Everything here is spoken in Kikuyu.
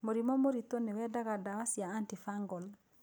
Mũrimũ mũrĩtũ nĩ wendaga ndawa cia antifungal.